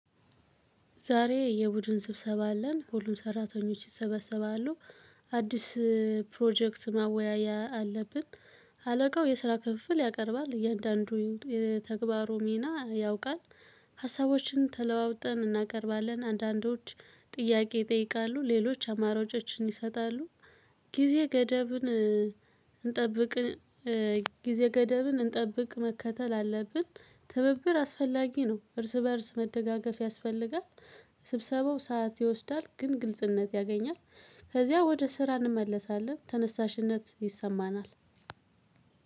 ዛሬ የቡድን ስብሰባ አለን ሁሉም ሰራተኞች ይሰበሰባሉ። አዲስ ፕሮጀክት ማወያያ አለብን። አለቃው የስራ ክፍፍል ያቀርባል እያንዳንዱ የተግባሩ ሚና ያውቃል። ሀሳቦችን ተለዋውጠን እናቀርባለን አንዳንዶች ጥያቄ ይጠይቃሉ ሌሎች አማራጮችን ይሰጣሉ። ጊዜ ገደብ። ጊዜ ገደብን እንጠብቅ መከተል አለብን። ትብብር አስፈላጊ ነው እርስ በእርስ መደጋገፍ ያስፈልጋል። ስብሰባው ሰዓት ይወስዳል ግን ግልጽነት ያገኛል። ከዚያ ወደ ስራ እንመለሳለን ተነሳሽነት ይሰማናል።